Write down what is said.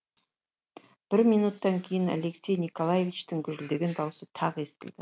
бір минуттан кейін алексей николаичтің гүжілдеген даусы тағы естілді